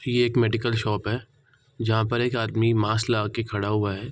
ये एक medical shop है जहाँ पर एक आदमी मास्क लगाकर खड़ा हुआ है ।